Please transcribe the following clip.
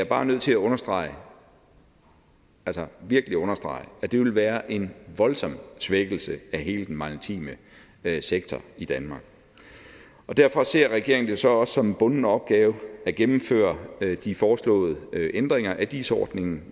bare nødt til at understrege altså virkelig understrege at det vil være en voldsom svækkelse af hele den maritime sektor i danmark derfor ser regeringen det så også som en bunden opgave at gennemføre de foreslåede ændringer af dis ordningen